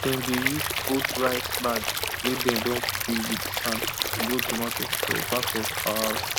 dem dey use old rice bag wey dem don fill with sand grow tomato for back of our house